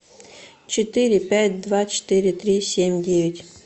четыре пять два четыре три семь девять